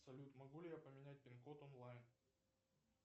салют могу ли я поменять пин код онлайн